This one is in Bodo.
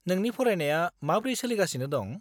नोंनि फरायनाया माब्रै सोलिगासिनो दं?